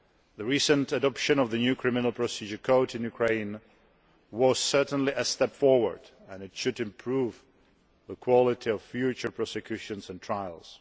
The recent adoption of the new Code of Criminal Procedure in Ukraine was certainly a step forward, and it should improve the quality of future prosecutions and trials.